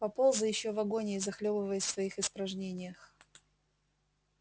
поползай ещё в агонии захлёбываясь в своих испражнениях